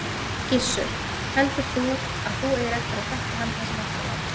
Gissur: Heldur þú að þú eigir eftir að þekkja hann það sem eftir er?